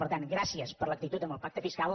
per tant gràcies per l’actitud en el pacte fiscal